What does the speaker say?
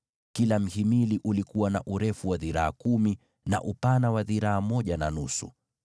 Kila mhimili ulikuwa na urefu wa dhiraa kumi, na upana wa dhiraa moja na nusu,